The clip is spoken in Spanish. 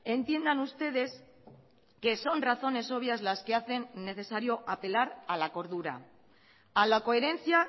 entiendan ustedes que son razones obvias las que hacen necesario apelar a la cordura a la coherencia